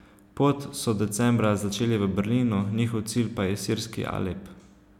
Pot so decembra začeli v Berlinu, njihov cilj pa je sirski Alep.